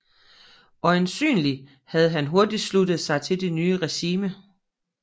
Øjensynlig havde han hurtig sluttet sig til det nye regimente